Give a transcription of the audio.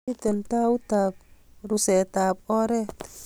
miten tautab rusetab oret